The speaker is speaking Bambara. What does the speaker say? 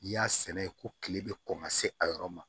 N'i y'a sɛnɛ ko kile bɛ kɔn ka se a yɔrɔ ma